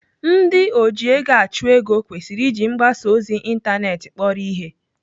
Ndị ojiegoachụego kwesịrị iji mgbasa ozi ịntanetị kpọrọ ihe.